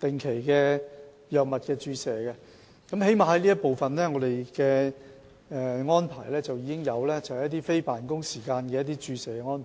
定期接受一些藥物注射，當局已作出安排，在非辦公時間提供注射治療服務。